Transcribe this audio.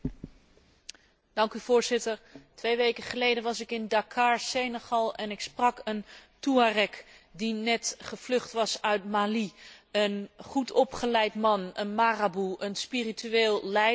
Twee weken geleden was ik in Dakar, Senegal en ik sprak een Touareg, die net gevlucht was uit Mali, een goed opgeleid man, een marabu, een spiritueel leider, maar van het vrijzinnige soort.